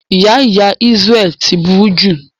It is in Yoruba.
Ìyá ìyá Isreal ti buru jù.